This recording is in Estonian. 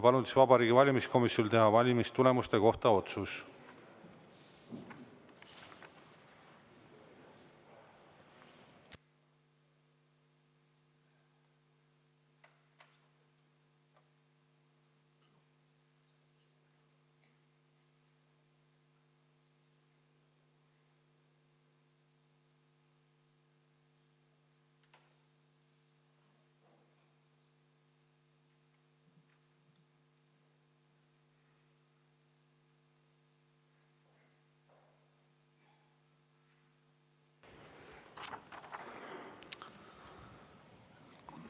Palun Vabariigi Valimiskomisjonil teha valimistulemuse kohta otsus.